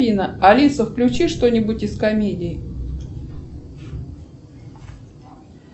алиса включи что нибудь из комедий